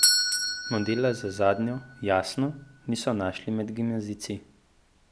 Modela za zadnjo, jasno, niso našli med gimnazijci.